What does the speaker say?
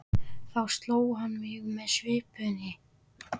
Þá sló hann mig með svipunni.